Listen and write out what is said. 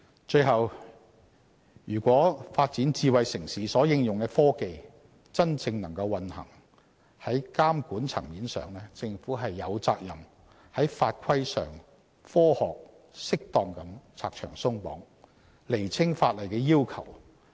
最後，如果發展智慧城市所應用的科技能夠真正運行，在監管層面上，政府有責任在法規上科學、適當地拆牆鬆綁，釐清法律要求。